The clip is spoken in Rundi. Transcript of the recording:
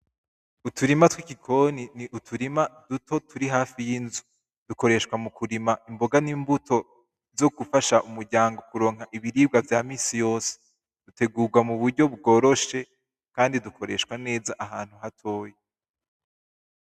Uturima twigikoni ni utirima duto turi hafi y'inzu, dukoresha mukurima imbonga n'imbuto zogufasha umuryango kuronka ibiribwa vy'aminsi yose bitegurwa muburyo bworoshe kandi dukoreshwa neza ahantu hatoya.